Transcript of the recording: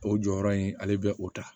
O jɔyɔrɔ in ale bɛ o ta